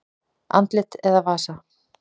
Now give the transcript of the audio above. Andlit eða vasa?